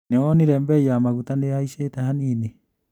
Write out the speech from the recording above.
Nĩwonire mbei ya maguta nĩihaicite hanini?